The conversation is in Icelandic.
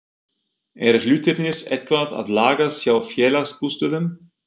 Eru hlutirnir eitthvað að lagast hjá Félagsbústöðum?